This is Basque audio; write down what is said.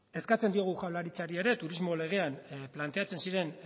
eskatzen diogu jaurlaritzari ere turismo legean planteatzen ziren